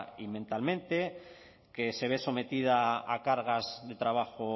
y mentalmente que se ve sometida a cargas de trabajo